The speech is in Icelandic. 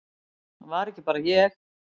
Það var ekki bara ég.